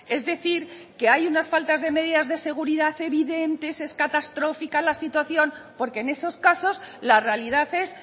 es decir que hay unas faltas de medidas de seguridad evidentes es catastrófica la situación porque en esos casos la realidad es